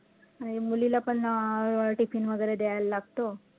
आणि मुलीला पण अं tiffin वैगरे द्यायला लागतो.